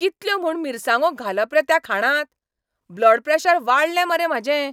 कितल्यो म्हूण मिरसांगो घालप रे त्या खाणांत? ब्लड प्रॅशर वाडलें मरे म्हाजें!